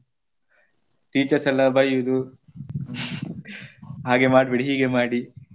Teachers ಎಲ್ಲ ಬಯ್ಯುದು ಹಾಗೆ ಮಾಡ್ಬೇಡಿ ಹೀಗೆ ಮಾಡಿ.